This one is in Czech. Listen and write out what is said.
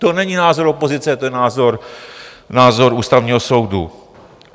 To není názor opozice, to je názor Ústavního soudu.